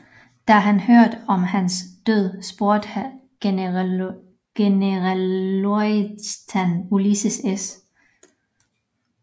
Da han hørte om hans død spurgte generalløjtnant Ulysses S